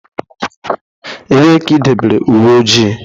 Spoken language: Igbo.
Ebee ka idobere uwe ojii?